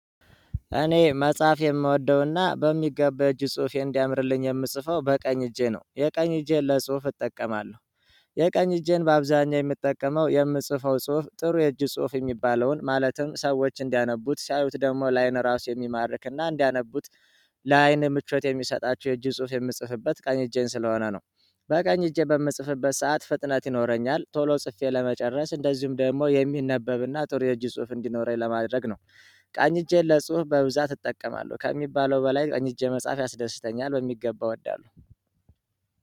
እኔ መጽሐፍ የምወደውና በሚገባ እጅ ጽሁፍ እንዲያምርልኝ የምጽፈው በቀኝ እጄ ነው የቀኝ እጄን ለጽሁፍ እጠቀማለሁ። የቀኝ እጄን በአብዛኛው የምጠቀመው የምጽፈው ጽሁፍ ጥሩ የእጅ ጽሁፍ የሚባለውን ማለትም ሰዎች እንዲያነቡት ሲያዩት ደግሞ ለአይን ራሱ የሚማርክና እንዲያነቡት ለአይን ምቾት የሚሰጣቸው የእጅ ጽሁፍ የምጽፍበት ቀኝ እጄን ስለሆነ ነው። በቀኝ እጄ በምጽፍበት ሰዓት ፍጥነት ይኖረኛል ቶሎ ጽፌ ለመጨረስ እንደዚሁም ደግሞ የሚነበብና ጥሩ የእጅ ጽሁፍ እንዲኖረኝ ለማድረግ ነው። ቀኝ እጄን ለጽሁፍ በብዛት እጠቀማለሁ ከሚባለው በላይ ቀኝ እጄ መጻፍ ያስደስተኛል በሚገባ እወዳለሁ።